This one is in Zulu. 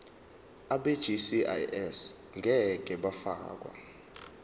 abegcis ngeke bafakwa